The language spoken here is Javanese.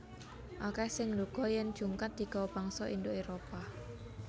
Akèh sing nduga yèn jungkat digawa bangsa Indo Éropah